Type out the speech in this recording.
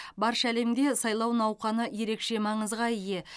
барша әлемде сайлау науқаны ерекше маңызға ие